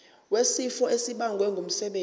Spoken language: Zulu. wesifo esibagwe ngumsebenzi